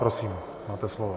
Prosím, máte slovo.